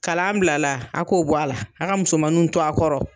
Kalan bilala a k'o bɔ a la a ka musomanuw to a kɔrɔ